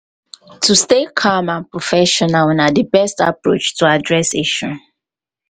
to stay calm and professional na di um best approach to address issue.